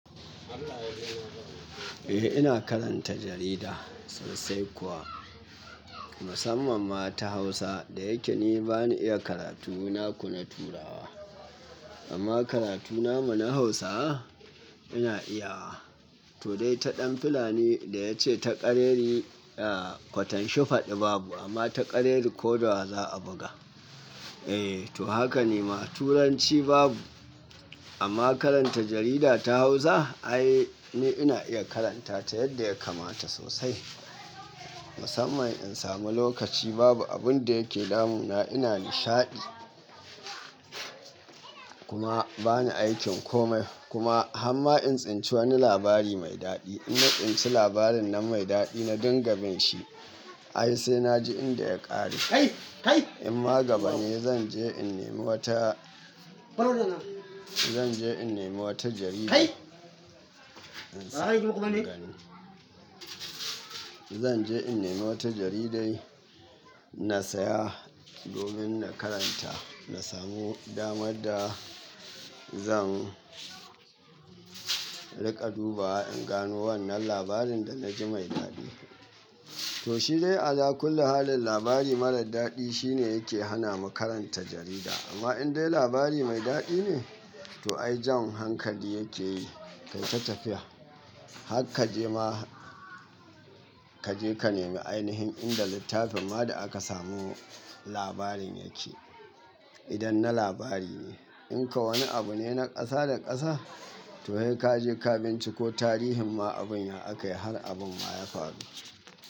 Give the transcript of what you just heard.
Eh ina karanta jarida sosai kuwa, musamman ma ta Hausa da yake ni bani iya karatu na ku na turawa. Amma karatu na muna Hausawa ina iyawa. To dai ta ɗan fulani da ya ce ta ƙareri, ah kwatansho faɗi babu amma ta ƙareri ko da wa za a buga. Eh to haka ne ma turanci babu, amma karanta jarida ta Hausa ai ni ina iya karanta ta yadda ya kamata sosai. Musamman in samu lokaci babu abun da yake damuna ina nishaɗi. Kuma bani aikin komai kuma hamma in tsinci wani labari mai daɗi, ina tsinci labarin nan mai daɗi na dinga bin shi. Ai sai na ji inda ya ƙare. In ma gaba ne zan je in nemi wata, zan je in nemi wata jarida in samu in gani. Zan je in nemi wata jaridai na saya domin na karanta, na samu damar da zan riƙa dubawa in gano wannan labarin da na ji mai daɗi. To shi dai a la kulli halin labari marar daɗi shine yake hana mu karanta jarida. Amma in dai labari mai daɗi ne, to ai jan hankali yake yi. Kai ta tafiya. Hakka je ma kaje ka nemi ainihin inda littafin ma da aka samu labarin yake. Idan na labari ne. In kuwa wani abu ne na ƙasa da ƙasa, to sai ka je ka binciko tarihin ma abun ya aka yi har abun ma ya faru.